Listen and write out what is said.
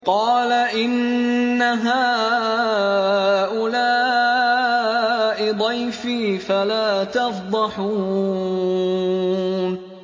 قَالَ إِنَّ هَٰؤُلَاءِ ضَيْفِي فَلَا تَفْضَحُونِ